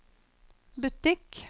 butikk